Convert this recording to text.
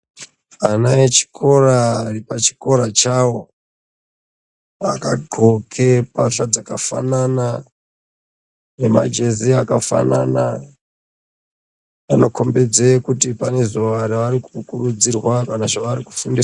Vana vechikora vari pachikora chavo vakadxoke mbatya dzakafanana nemajezi akafanana vanokombedze kuti pane zvavari kukurudzirwa kana zvavari kufundiswa.